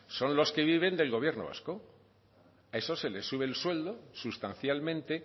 son los que viven del gobierno vasco a esos se les sube el sueldo sustancialmente